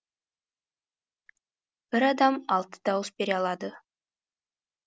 бір адам алты дауыс бере алады